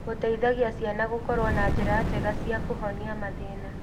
Gũteithagia ciana gũkorwo na njĩra njega cia kũhonia mathĩna.